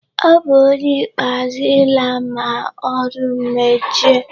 Ọ bu ónyé ikpeazụ ịla ma ọrụ mechie.